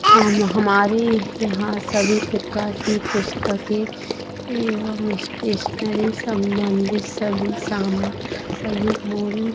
हमरी यहाँ सभी प्रकार के पुस्तके स्टेशनरी सम्बंदित सभी सामग्री